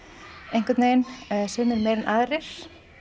einhvern veginn sumir meira en aðrir